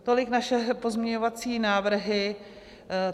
Tolik naše pozměňovací návrhy.